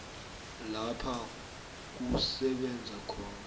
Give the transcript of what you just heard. lapha kusebenza khona